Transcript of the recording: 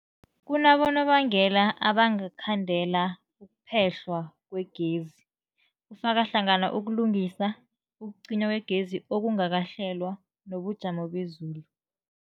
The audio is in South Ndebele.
Kunabonobangela abangakhandela ukuphehlwa kwegezi, kufaka hlangana ukulungisa, ukucinywa kwegezi okungakahlelwa, nobujamo bezulu.